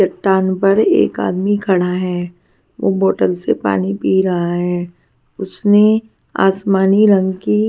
चट्टान पर एक आदमी खड़ा है वह बोतल से पानी पी रहा है उसने आसमानी रंग की--